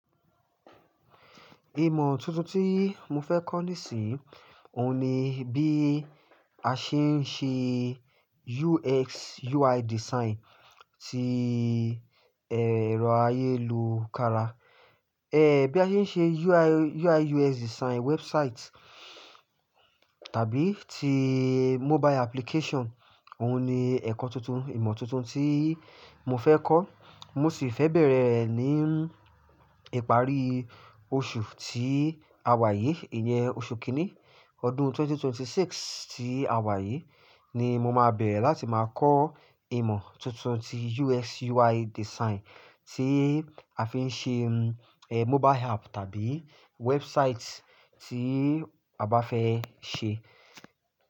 Ìmọ̀ tuntun tí mo fẹ́ kọ́ nísìnyí òun ni bí a ṣe ń ṣe UX, UI design tí ẹ̀rọ ayélujára, ẹ́ bí a ṣe ń ṣe UI, UX design website tàbí tí mobile application òun ni ẹ̀kọ́ tuntun, ìmọ̀ tuntun tí mo fẹ́ kọ́. Mo sì fẹ́ bẹ̀rẹ̀ rẹ̀ ní ìparí oṣù tí àwa yìí, ìyẹn oṣù kìíní ọdún 2026 tí àwa yìí ni mo máa bẹ̀rẹ̀ láti máa kọ́ ìmọ̀ tuntun tí UX, UI design tí a fi ń ṣe, ẹ́ mobile app tàbí website tí a bá fẹ́ ṣe.